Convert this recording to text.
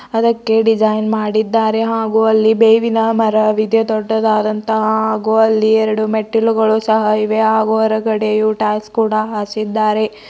ಅದಕ್ಕೆ ಡಿಸೈನ್ ಮಾಡಿದ್ದಾರೆ ಹಾಗು ಅಲ್ಲಿ ಬೇವಿನ ಮರವಿದೆ ದೊಡ್ಡದಾದಂತಹ ಹಾಗು ಅಲ್ಲಿ ಎರಡು ಮೆಟ್ಟಿಲುಗಳು ಸಹ ಇವೆ ಹಾಗು ಹೊರಗಡೆಯು ಟೈಸ ಕೂಡ ಹಾಸಿದ್ದಾರೆ.